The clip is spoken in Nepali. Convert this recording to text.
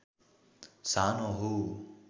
सानो हो